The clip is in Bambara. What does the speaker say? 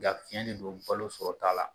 Nka tiɲɛ de don balo sɔrɔta la